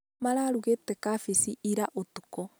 Mararũgĩte cabaci ira ũtuku